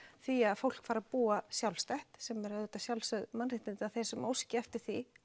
því að fólk fari að búa sjálfstætt sem eru auðvitað sjálfsögð mannréttindi að þeir sem óski eftir því